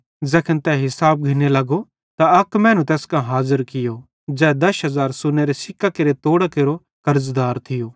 ज़ैखन तै हिसाब घिन्ने लगो त अक मैनू तैस कां हाज़र कियो ज़ै दश हज़ार सोन्नेरे सिक्कां केरे तोड़ां केरो कर्ज़दार थियो